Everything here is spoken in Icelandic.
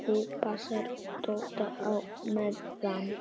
ÞÚ PASSAR DODDA Á MEÐAN!